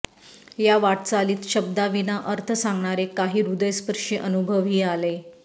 या वाटचालीत शब्दाविना अर्थ सांगणारे काही हृदयस्पर्शी अनुभवही आले